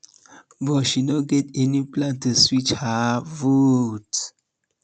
but she no get any plan to switch her vote